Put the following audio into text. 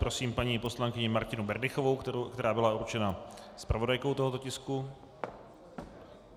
Prosím paní poslankyni Martinu Berdychovou, která byla určena zpravodajkou tohoto tisku.